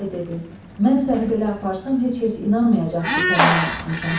Bolu bəy dedi: "Mən səni belə aparsam, heç kəs inanmayacaq ki, səni mən tutmuşam.